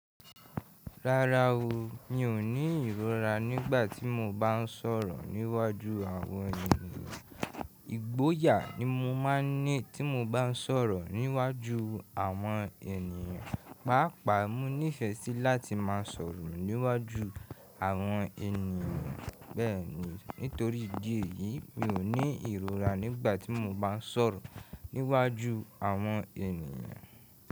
Rárá o, mi ò ní ìrora nígbà tí mo bá ń sọ̀rọ̀ níwájú àwọn ènìyàn. Ìgboyà ni mo máa ń ní tí mo bá ń sọ̀rọ̀ níwájú àwọn ènìyàn. Páápàá mo nífẹ̀ẹ́ sí láti máa sọ̀rọ̀ níwájú àwọn ènìyàn bẹ́ẹ̀ ni. Nítorí ìdí èyí, mi ò ní ìrora nígbà tí mo bá ń sọ̀rọ̀ níwájú àwọn ènìyàn.